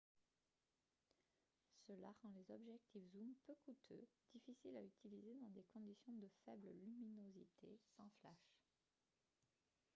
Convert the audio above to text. cela rend les objectifs zoom peu coûteux difficiles à utiliser dans des conditions de faible luminosité sans flash